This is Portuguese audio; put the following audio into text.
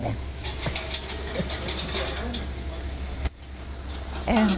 Né. (risos( É de espionagem? É